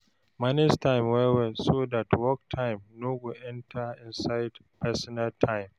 Manage time well well, so dat work time no go enter inside personal time